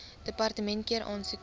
departement keur aansoeke